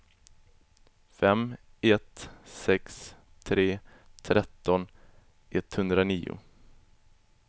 fem ett sex tre tretton etthundranio